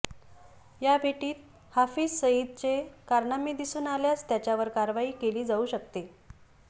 या भेटीत हाफिझ सईदचे कारनामे दिसून आल्यास त्याच्यावर कारवाई केली जाऊ शकते